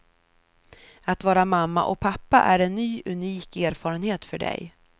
Att vara mamma och pappa är en ny unik erfarenhet för dig.